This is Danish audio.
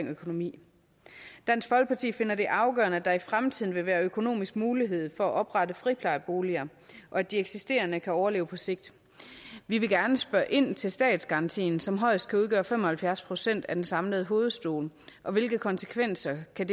økonomi dansk folkeparti finder det afgørende at der i fremtiden vil være økonomisk mulighed for at oprette friplejboliger og at de eksisterende kan overleve på sigt vi vil gerne spørge ind til statsgarantien som højst kan udgøre fem og halvfjerds procent af den samlede hovedstol og hvilke konsekvenser det kan